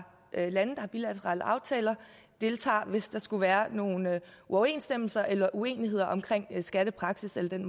lande har bilaterale aftaler deltager hvis der skulle være nogle uoverensstemmelser eller uenigheder om skattepraksis eller den